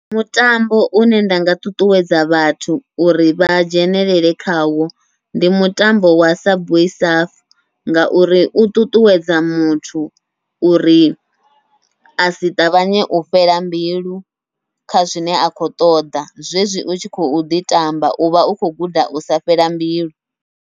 Mutambo une nda nga ṱuṱuwedza vhathu uri vha dzhenelele khawo, ndi mutambo wa subway surf ngauri u ṱuṱuwedza muthu uri asi ṱavhanye u fhela mbilu kha zwine a khou ṱoḓa, zwezwi u tshi khou ḓi tamba uvha u khou guda usa fhela mbilu.